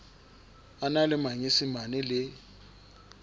a na le manyesemane le